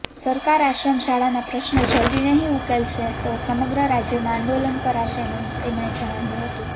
સરકાર આશ્રમશાળાના પ્રશ્નો જલ્દી નહીં ઉકેલશે તો સમગ્ર રાજ્યમાં આંદોલન કરાશેનું તેમણે જણાવ્યું હતું